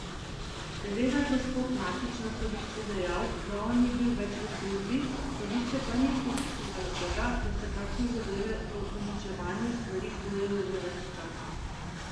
Seveda je gospod Matić na sodišču dejal, da on ni bil več v službi, sodišče pa ni upoštevalo tega, da se takšne zadeve o uničevanju stvari kujejo že več časa.